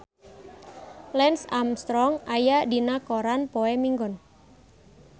Lance Armstrong aya dina koran poe Minggon